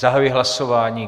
Zahajuji hlasování.